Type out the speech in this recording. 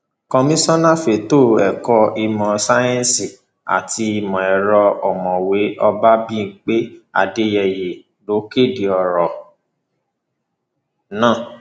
komisanna fẹtọ ẹkọ ìmọ sáyẹǹsì àti ìmọ ẹrọ ọmọwé olábìpé adéyeyé ló kéde ọrọ náà